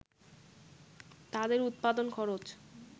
তাদের উৎপাদন খরচ